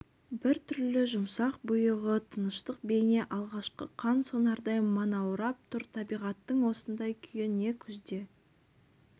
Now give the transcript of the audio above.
бір түрлі жұмсақ бұйығы тыныштық бейне алғашқы қан сонардай манаурап тұр табиғаттың осындай күйі не күзде